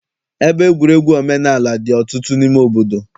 Ebe egwuregwu omenaala dị ọtụtụ n'ime obodo.